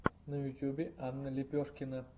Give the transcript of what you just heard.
на ютубе анна лепешкина